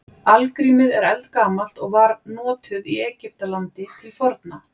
Algrímið er eldgamalt og var notuð í Egyptalandi til forna.